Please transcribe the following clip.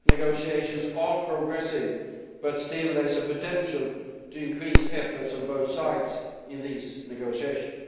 Negotiations are progressing but still there is a potential to increase efforts on both sides in these negotiations.